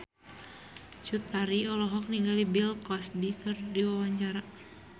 Cut Tari olohok ningali Bill Cosby keur diwawancara